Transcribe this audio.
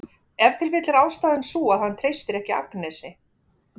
Ef til vill er ástæðan sú að hann treystir ekki Agnesi.